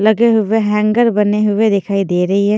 लगे हुए हैंगर बने हुए दिखाई दे रही है।